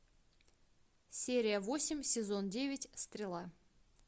серия восемь сезон девять стрела